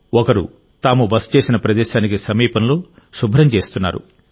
ఒకరు తాము బస చేసిన ప్రదేశానికి సమీపంలో శుభ్రం చేస్తున్నారు